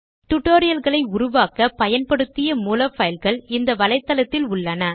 டுடோரியல்களை உருவாக்க பயன்படுத்திய மூல பைல்கள் இந்த வலைத்தளத்தில் உள்ளன